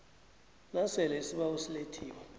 nasele isibawo silethiwe